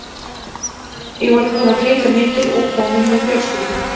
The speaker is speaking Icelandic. Ég var búinn að flytja mikið og kominn með fjölskyldu.